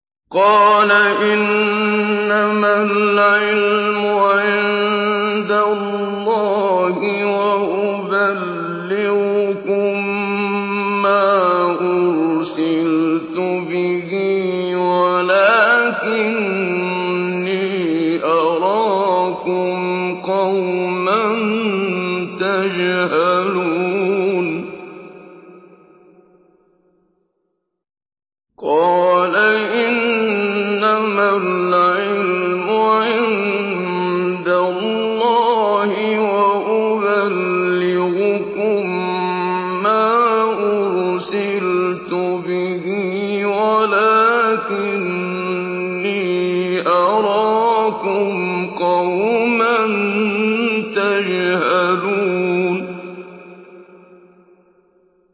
قَالَ إِنَّمَا الْعِلْمُ عِندَ اللَّهِ وَأُبَلِّغُكُم مَّا أُرْسِلْتُ بِهِ وَلَٰكِنِّي أَرَاكُمْ قَوْمًا تَجْهَلُونَ